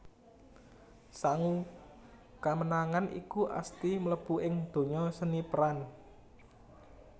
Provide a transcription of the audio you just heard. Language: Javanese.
Sangu kamenangan iku Asty mlebu ing donya seni peran